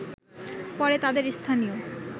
পরে তাদের স্থানীয়